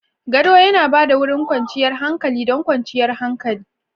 Gado yana ba da wurin kwanciyar hankali da kwanciyar hankali.